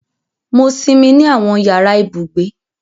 Mo sinmi ni awọn yara ibugbe.